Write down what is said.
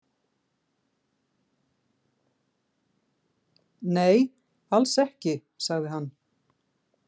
Nei, alls ekki, sagði hann.